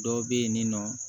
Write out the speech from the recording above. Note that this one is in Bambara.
Dɔw bɛ yen nɔ